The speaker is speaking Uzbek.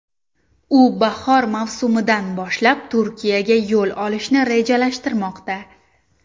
U bahor mavsumidan boshlab Turkiyaga yo‘l olishni rejalashtirmoqda.